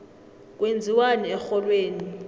kwenziwani erholweni